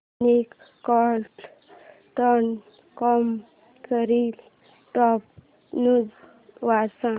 Moneycontrol dot com वरील top news वाच